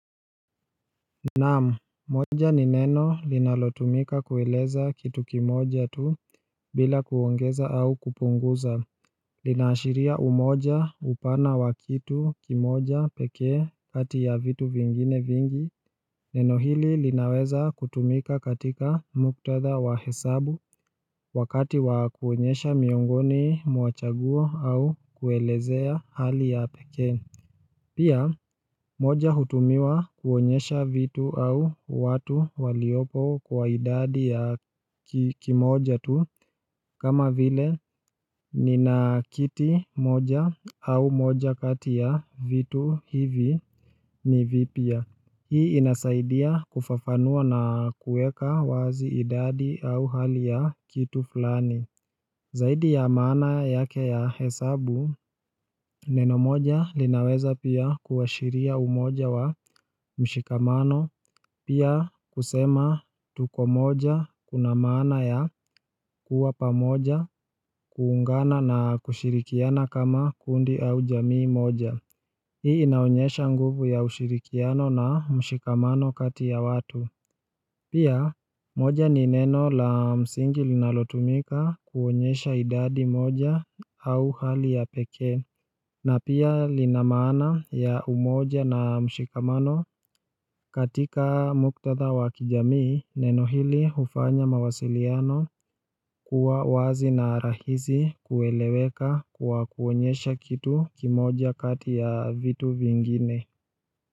Naamu, moja ni neno linalotumika kuweleza kitu kimoja tu bila kuongeza au kupunguza Linashiria umoja upana wakitu kimoja pekee kati ya vitu vingine vingi Neno hili linaweza kutumika katika muktadha wa hesabu wakati wakuonyesha miongoni mwachagua au kuelezea hali ya pekee Pia moja hutumiwa kuonyesha vitu au watu waliopo kwa idadi ya kimoja tu kama vile ni na kiti moja au moja katiya vitu hivi ni vipya. Hii inasaidia kufafanua nakuweka wazi idadi au hali ya kitu fulani. Zaidi ya mana yake ya hesabu, neno moja linaweza pia kuashiria umoja wa mshikamano, pia kusema tuko moja kuna mana ya kuwa pamoja kuungana na kushirikiana kama kundi au jamii moja. Hii inaonyesha nguvu ya ushirikiano na mshikamano kati ya watu Pia moja ni neno la msingi linalotumika kuonyesha idadi moja au hali ya peke na pia linamana ya umoja na mshikamano katika muktadha wakijamii neno hili ufanya mawasiliano kuwa wazi na rahizi kueleweka kuwa kuonyesha kitu kimoja kati ya vitu vingine.